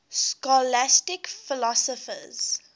scholastic philosophers